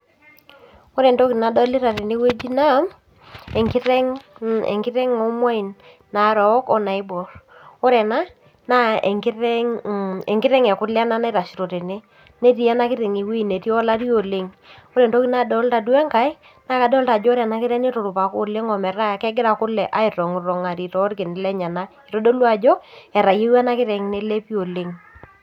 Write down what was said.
Ore entoki nadolita tenewueji naa enkiteng , enkiteng omwain narook onaibor ore ena naa enkiteng, enkiteng ekule ena naitashito tene ,netii enakiteng ewuei netii olari oleng. Ore entoki nadolta uo enkae naa kadolita ajo ore ena kiteng , niturupaka oleng ometaa kegira kule aitongtongari torkin lenyenak , itodolu ajo etayieua ena kiteng nelepi oleng .